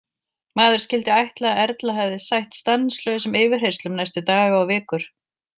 Maður skyldi ætla að Erla hefði sætt stanslausum yfirheyrslum næstu daga og vikur.